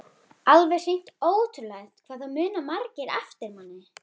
Alveg hreint ótrúlegt hvað það muna margir eftir manni!